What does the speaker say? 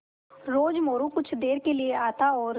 रोज़ मोरू कुछ देर के लिये आता और